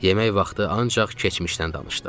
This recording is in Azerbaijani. Yemək vaxtı ancaq keçmişdən danışdıq.